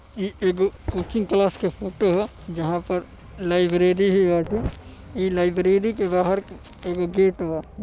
ई एगो coaching class के फोटो ह जहां पर लाइब्रेरी भी बाटे। ई लाइब्रेरी के बाहर की एगो गेट बा।